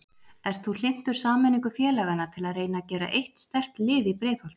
Ert þú hlynntur sameiningu félagana til að reyna að gera eitt sterkt lið í Breiðholti?